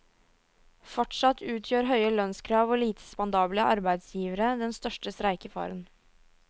Fortsatt utgjør høye lønnskrav og lite spandable arbeidsgivere den største streikefaren.